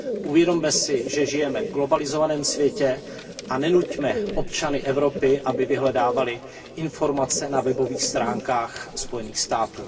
Uvědomme si, že žijeme v globalizovaném světě, a nenuťme občany Evropy, aby vyhledávali informace na webových stránkách Spojených států.